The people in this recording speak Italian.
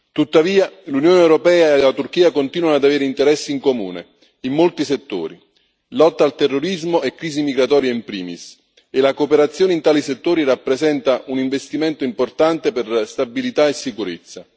Tuttavia, l'Unione europea e la Turchia continuano ad avere interessi in comune in molti settori lotta al terrorismo e crisi migratoria in primis e la cooperazione in tali settori rappresenta un investimento importante per stabilità e sicurezza.